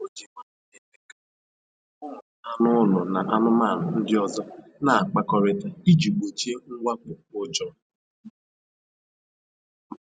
O ji nwayọọ na-eme ka ụmụ anụ ụlọ na anụmanụ ndị ọzọ na-akpakọrita iji gbochie mwakpo ụjọ